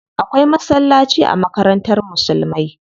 Akwai masallaci a makarantar musulmai.